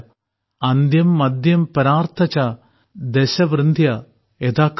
അന്ത്യം മദ്ധ്യം പരാർദ്ധഃ ച ദശ വൃദ്ധ്യാ യഥാക്രമം